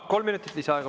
Kolm minutit lisaaega.